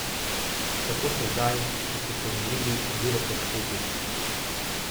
Kako se zdaj, ko ste se umirili, ozirate k tej tekmi?